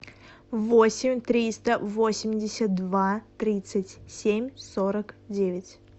восемь триста восемьдесят два тридцать семь сорок девять